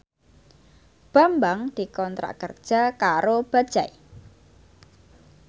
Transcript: Bambang dikontrak kerja karo Bajaj